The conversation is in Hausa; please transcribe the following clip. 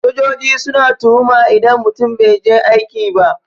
Sojoji suna tuhuma idan mutum bai je aiki ba.